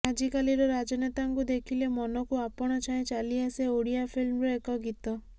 ଆଜିକାଲିର ରାଜନେତାଙ୍କୁ ଦେଖିଲେ ମନକୁ ଆପଣାଛାଏଁ ଚାଲିଆସେ ଓଡ଼ିଆ ଫିଲ୍ମର ଏକ ଗୀତ